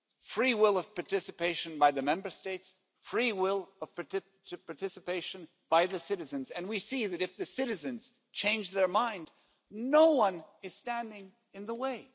Free will of participation by the Member States, free will of participation by the citizens, and we see that if citizens change their mind, no one is standing in the way.